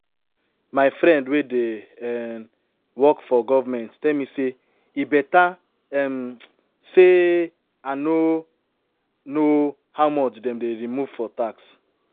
My friend wey dey um work for government tell me say e beta um say I no know how much den dey remove for tax